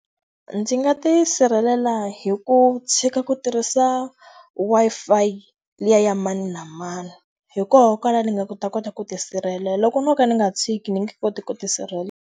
Ndzi nga tisirhelela hi ku tshika ku tirhisa Wi-Fi liya ya mani na mani. Hi koho kwalano ni nga ta kota ku ti sirhelela, loko no ka ndzi nga tshiki ndzi nga koti ku ti sirhelela.